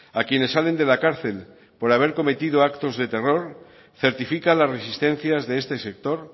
a quienes salen de la cárcel por haber cometido actos de terror certifica las resistencias de este sector